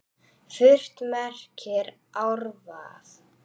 Furt merkir árvað.